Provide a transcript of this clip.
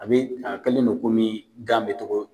A bɛ a kɛlen bɛ komi gan bɛ cogo